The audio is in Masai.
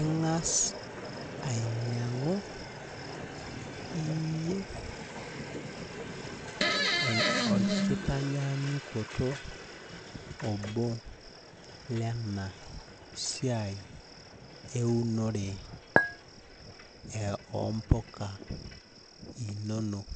Ing'as ainyang'u iyie orkitanyaanyukoto obo lenasiai eunore ompuka inonok.